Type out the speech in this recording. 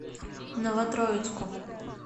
новотроицку